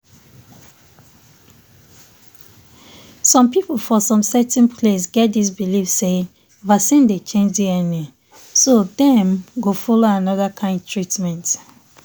some people for certain place get this believe say vaccine dey change dna so dem go follow another kind treatment.